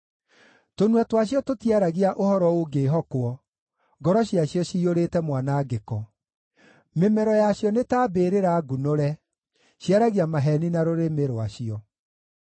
Tũnua twacio tũtiaragia ũhoro ũngĩĩhokwo; ngoro ciacio ciyũrĩte mwanangĩko. Mĩmero yacio nĩ ta mbĩrĩra ngunũre; ciaragia maheeni na rũrĩmĩ rwacio.